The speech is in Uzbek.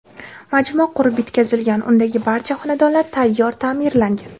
Majmua qurib bitkazilgan, undagi barcha xonadonlar tayyor ta’mirlangan.